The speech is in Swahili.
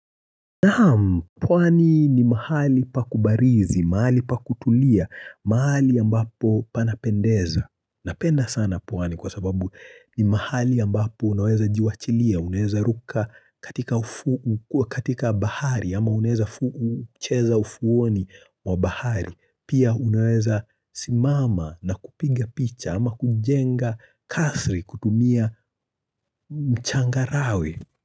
Naam, pwani ni mahali pa kubarizi, mahali pa kutulia, mahali ambapo panapendeza. Napenda sana pwani kwa sababu ni mahali ambapo unaweza jiwachilia, uneweza ruka katika bahari ama uneweza cheza ufuoni wa bahari. Pia unaweza simama na kupiga picha ama kujenga kasri kutumia mchangarawe.